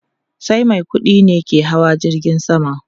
Sai mai kudi ne ke hawa jirgin sama